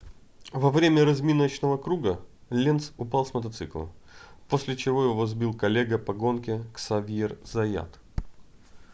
во время разминочного круга ленц упал с мотоцикла после чего его сбил коллега по гонке ксавьер заят